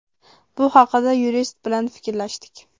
Bu haqida yurist bilan fikrlashdik.